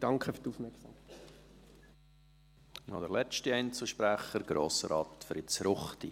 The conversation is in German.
Noch als letzter Einzelsprecher, Grossrat Fritz Ruchti.